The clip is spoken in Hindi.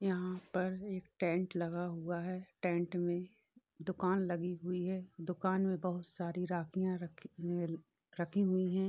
यँहा पर एक टेंट लगा हुआ है। टेंट में दुकान लगी हुई है। दुकान में बहुत सारी राखियाँ रखी अ रखी हुई हैं।